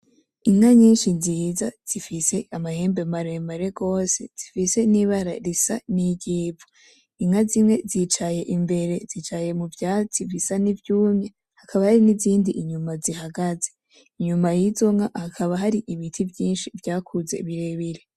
Inka nyinshi nziza zifise amahembe maremare gose zifise nibara risa niryivu inka zimwe zicaye imbere zicaye muvyatsi bisa nkivyumye hakaba hari nizindi inyuma zihagaze inyuma yizo nka hakaba hari ibiti vyinshi vyakuze birebire